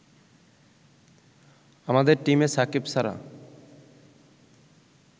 আমাদের টিমে সাকিব ছাড়া